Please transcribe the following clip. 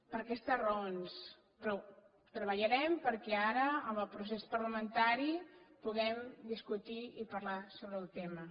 per aquestes raons però treballarem perquè ara en el procés parlamentari puguem discutir i parlar sobre el tema